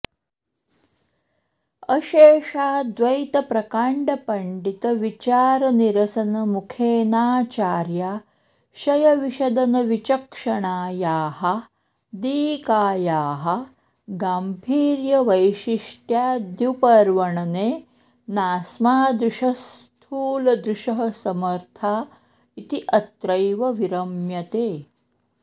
अशेषाद्वैतप्रकाण्डपण्डितविचारनिरसनमुखेनाचार्याशयविशदनविचक्षणायाः दीकायाः गाम्भीर्यवैशिष्ट्याद्युपवर्णने नास्मादृशः स्थूलदृशः समर्था इति अत्रैव विरम्यते